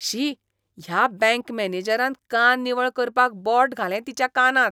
शी, ह्या बँक मॅनेजरान कान निवळ करपाक बोट घालें तिच्या कानांत .